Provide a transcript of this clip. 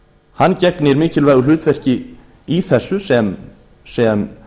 hann gegnir mikilvægu hlutverki í þessu sem